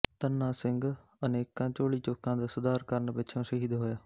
ਧੰਨਾ ਸਿੰਘ ਅਨੇਕਾਂ ਝੋਲੀ ਚੁੱਕਾਂ ਦਾ ਸੁਧਾਰ ਕਰਨ ਪਿੱਛੋਂ ਸ਼ਹੀਦ ਹੋਇਆ